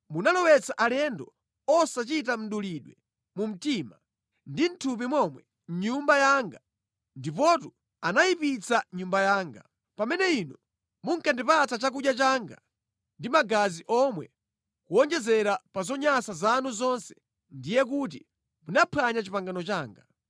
Munalowetsa alendo osachita mdulidwe mu mtima ndi mʼthupi momwe mʼNyumba yanga ndipotu anayipitsa Nyumba yanga. Pamene inu munkandipatsa chakudya changa ndi magazi omwe kuwonjezera pa zonyansa zanu zonse ndiye kuti munaphwanya pangano langa.